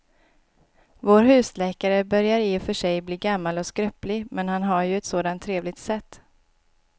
Vår husläkare börjar i och för sig bli gammal och skröplig, men han har ju ett sådant trevligt sätt!